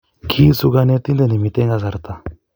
Kiisu konetinte ne miten kasarta.